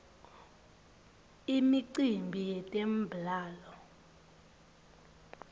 imicimbi yetemblalo